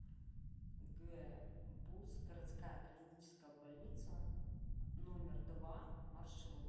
гбуз городская клиническая больница номер два маршрут